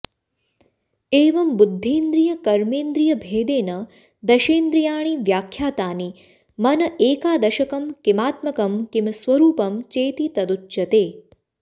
एवं बुद्धीन्द्रियकर्मेन्द्रियभेदेन दशेन्द्रियाणि व्याख्यातानि मन एकादशकं किमात्मकं किं स्वरूपं चेति तदुच्यते